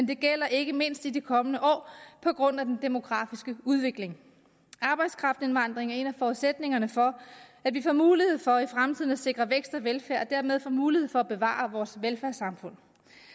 det gælder ikke mindst i de kommende år på grund af den demografiske udvikling arbejdskraftindvandringen er en af forudsætningerne for at vi får mulighed for i fremtiden at sikre vækst og velfærd og dermed får mulighed for at bevare vores velfærdssamfund